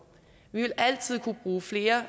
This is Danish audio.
vi vil altid kunne bruge flere